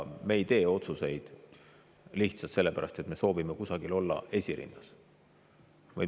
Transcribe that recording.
Me ei tee neid otsuseid lihtsalt sellepärast, et me soovime kusagil olla esirinnas.